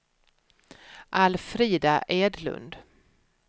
Alfrida Edlund